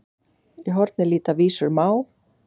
Í horni líta vísur má.